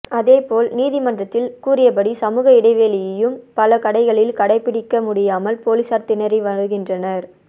அதேபோல் நீதிமன்றத்தில் கூறியபடி சமூக இடைவேளையையும் பல கடைகளில் கடைபிடிக்க முடியாமல் போலீசார் திணறி வருகின்றனர்